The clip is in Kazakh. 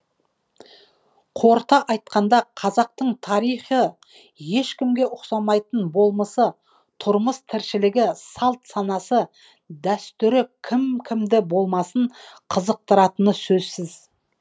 қорыта айтқандақазақтың тарихы ешкімге ұқсамайтын болмысы тұрмыс тіршілігі салт санасы дәстүрі кім кімді болмасын қызықтыратын сөзсіз